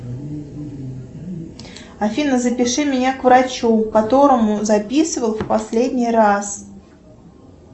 афина запиши меня к врачу к которому записывал в последний раз